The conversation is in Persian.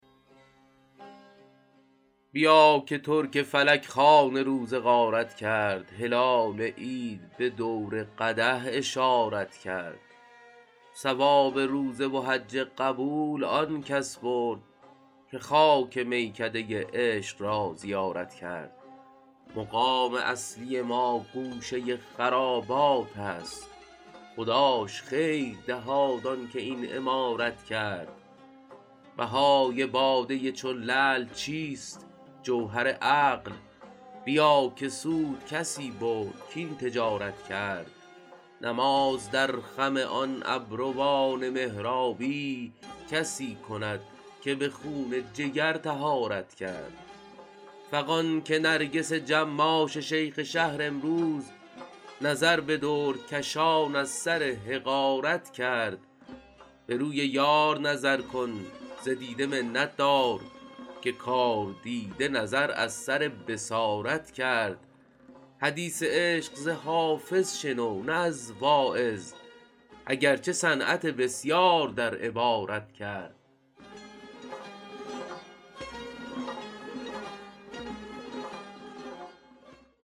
بیا که ترک فلک خوان روزه غارت کرد هلال عید به دور قدح اشارت کرد ثواب روزه و حج قبول آن کس برد که خاک میکده عشق را زیارت کرد مقام اصلی ما گوشه خرابات است خداش خیر دهاد آن که این عمارت کرد بهای باده چون لعل چیست جوهر عقل بیا که سود کسی برد کاین تجارت کرد نماز در خم آن ابروان محرابی کسی کند که به خون جگر طهارت کرد فغان که نرگس جماش شیخ شهر امروز نظر به دردکشان از سر حقارت کرد به روی یار نظر کن ز دیده منت دار که کاردیده نظر از سر بصارت کرد حدیث عشق ز حافظ شنو نه از واعظ اگر چه صنعت بسیار در عبارت کرد